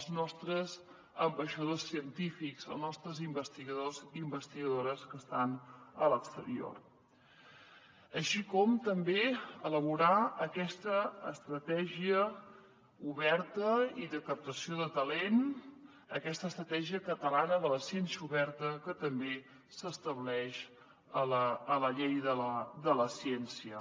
els nostres ambaixadors científics els nostres investigadors i investigadores que estan a l’exterior així com també elaborar aquesta estratègia oberta i de captació de talent aquesta estratègia catalana de la ciència oberta que també s’estableix a la llei de la ciència